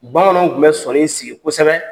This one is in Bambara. Bamananw tun bɛ sɔni in sigi kosɛbɛ.